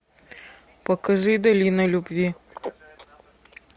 покажи долина любви